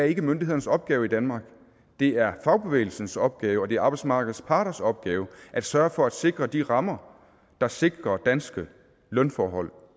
ikke er myndighedernes opgave i danmark det er fagbevægelsens opgave og det er arbejdsmarkedets parters opgave at sørge for at sikre de rammer der sikrer danske lønforhold